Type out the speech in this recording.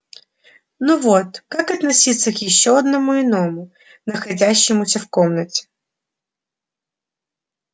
но вот как относиться к ещё одному иному находящемуся в комнате